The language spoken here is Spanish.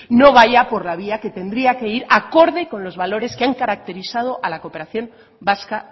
no vaya por la vía que tendría que ir acorde con los valores que han caracterizado a la cooperación vasca